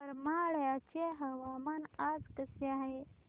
करमाळ्याचे हवामान आज कसे आहे